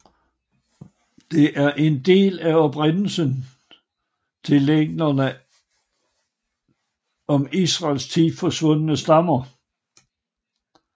Det er en del af oprindelsen til legenderne om Israels ti forsvundne stammer